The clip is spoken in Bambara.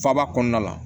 Faaba kɔnɔna la